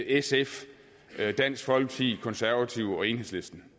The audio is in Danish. sf dansk folkeparti konservative og enhedslisten